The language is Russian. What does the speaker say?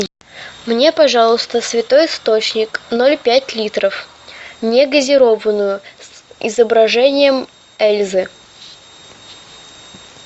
мне пожалуйста святой источник поль пять литров не газированную с изображение эльзы